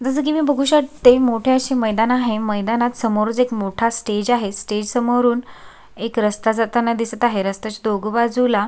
जस की मी बघू शकते मोठे असे मैदान आहे मैदानात समोर च मोठा एक स्टेज आहे स्टेज समोरून एक रस्ता जाताना दिसत आहे रस्त्याच्या दोघ बाजूला--